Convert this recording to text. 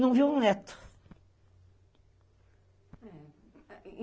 Não viu um neto.